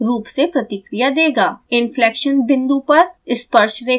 inflection बिंदु पर स्पर्शरेखा खींची जाती है